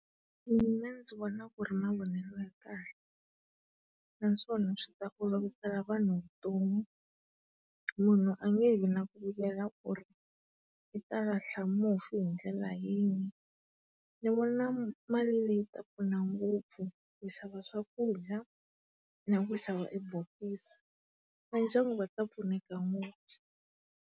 Mina ndzi vona ku ri mavonelo ya kahle naswona swi ta olovisela vanhu vutomi. Munhu a nge he vi na ku vilela ku ri i ta lahla mufi hi ndlela yini. Ni vona mali leyi yi ta pfuna ngopfu ku xava swakudya na ku xava e bokisi. Va ndyangu va ta pfuneka ngopfu.